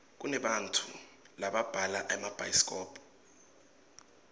kunebantau lababhala emabhayisikobho